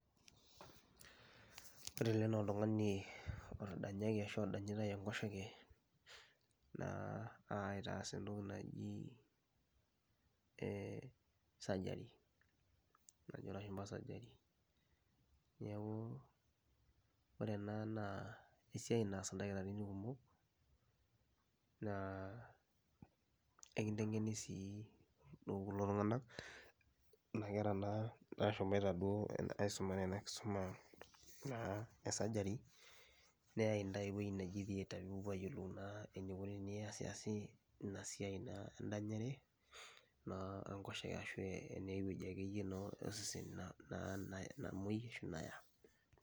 Ore ele naa oltung'ani otadanyaki ashu odanyitai enkoshoke naa aitaas entoki naji ee surgery najo ilashumba surgery. Neeku ore ena naa esiai naas ildakitarini kumok naa ekinteng'eni sii kulo tung'anak kuna kera naa nashomoita duo aisumare ena kisuma naa e surgery neyai intae ewuei neji thearter piipopuo ayiolou naa enikuni piasiasi ina siai naa endanyare naa enkoshoke ashu eniai wueji ake yie naa osesen na na namuei ashu naya.